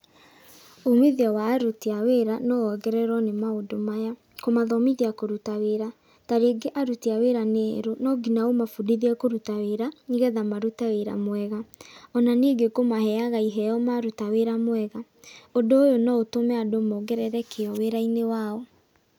Umithio wa aruti a wĩra, no wongererũo nĩ maũndũ maya, kũmathomithia kũruta wĩra. Tarĩngĩ aruti a wĩra nĩ erũ, no nginya ũmabundithie kũruta wĩra, nĩgetha marute wĩra mwega. Ona ningĩ kũmaheaga iheo maruta wĩra mwega. Ũndũ ũyũ no ũtũme andũ mongerere kĩo wĩra-inĩ wao.